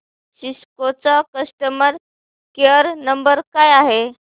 Cisco चा customer care number काय आहे